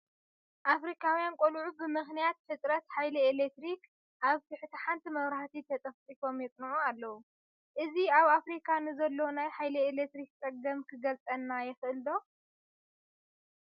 ኣፍሪካውያን ቆልዑ ብምኽንያት ህፅረት ሓይሊ ኤለክትሪክ ኣብ ትሕቲ ሓንቲ መብራህቲ ተጠፍጢፎም የፅንዑ ኣለዉ፡፡ እዚ ኣብ ኣፍሪካ ንዘሎ ናይ ሓይሊ ኤለክትሪክ ፀገም ክገልፀልና ይኽእል ዶ?